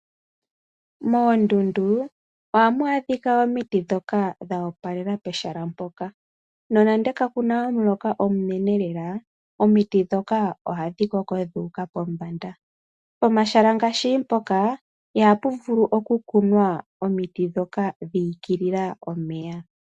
Moondundu ohamu adhika omiti ndhoka dho opalela pehala mpoka. Nonande kakuna omuloka omunene lela, omiti ndhoka ohadhi koko dhu uka pombanda. Omahala ngaashi mpoka ihapu vulu okukunwa omiti ndhoka dhi igilila omeya.